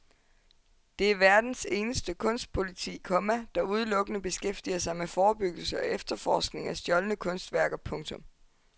Det er verdens eneste kunstpoliti, komma der udelukkende beskæftiger sig med forebyggelse og efterforskning af stjålne kunstværker. punktum